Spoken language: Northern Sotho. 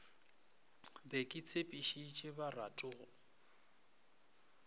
be ke tshepišitše baratho go